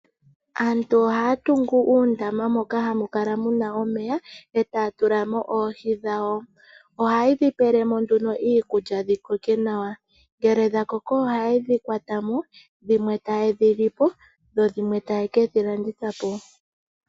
Aantu ohaa tungu uundama moka hamukala muna omeya etaa tula mo oohi dhawo. Ohaye dhi pelemo nduno iikulya dhi koke nawa. Ngele dha koko ohaye dhi kwata mo, dhimwe taye dhi lipo, dho dhimwe taye kedhi landitha po.